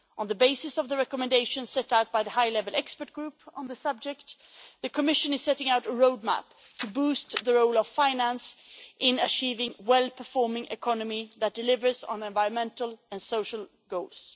On the basis of the recommendations set out by the high level expert group on the subject, the Commission is setting out a roadmap to boost the role of finance in achieving well performing economy that delivers on environmental and social goals.